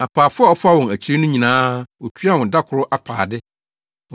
“Apaafo a ɔfaa wɔn akyiri no nyinaa, otuaa wɔn da koro apaade.